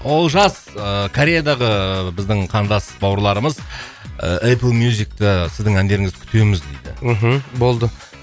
олжас ыыы кореядағы ыыы біздің қандас бауырларымыз ы эплмюзикта сіздің әндеріңізді күтеміз дейді мхм болды